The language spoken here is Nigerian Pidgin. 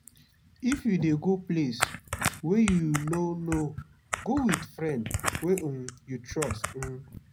if you dey go place wey you no know go wit friend wey um you trust. um